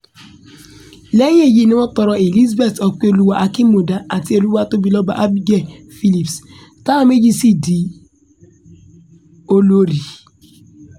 lẹ́yìn èyí ni wọ́n tọrọ elizabeth ọpẹ́ọ́lwà akínmúdà àti olùwàtòbilọ́ba abigail philipps táwọn méjèèjì sì di olórí